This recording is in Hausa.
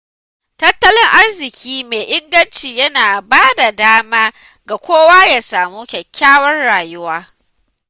Tattalin arziƙi mai inganci yana bada dama ga kowa ya samu kyakkyawar rayuwa.